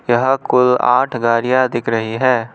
यहां कुल आठ गाड़ियां दिख रही हैं।